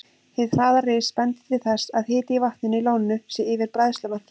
Hið hraða ris bendir til þess, að hiti í vatninu í lóninu sé yfir bræðslumarki.